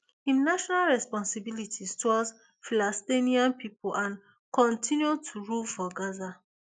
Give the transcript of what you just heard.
im national responsibilities towards palestinian pipo and continue to rule for gaza